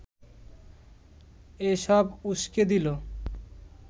এসব উসকে দিল